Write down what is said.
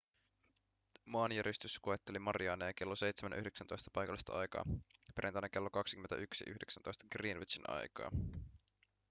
maanjäristys koetteli mariaaneja kello 7.19 paikallista aikaa perjantaina kello 21.19 greenwichin aikaa